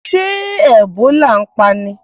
Ṣé Ẹ̀bólà ń pani?